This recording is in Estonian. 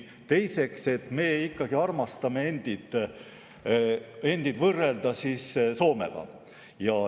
Teiseks, me armastame end võrrelda Soomega.